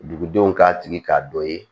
Dugudenw k'a tigi k'a dɔ ye